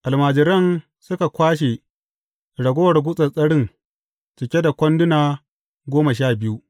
Almajiran suka kwashe ragowar gutsattsarin cike da kwanduna goma sha biyu.